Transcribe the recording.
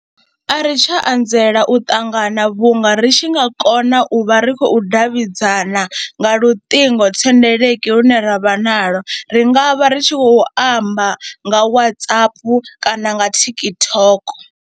A ri tsha anzela u ṱangana vhunga ri tshi nga kona u vha ri khou davhidzana nga luṱingothendeleki lune ra vha naḽo, ri nga vha ri tshi khou amba nga Whatsapp kana nga TikTok.